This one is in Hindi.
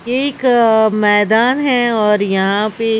एक मैदान है और यहां पे।